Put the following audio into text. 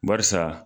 Barisa